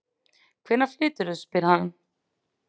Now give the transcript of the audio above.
Hvenær flyturðu? spurði hann.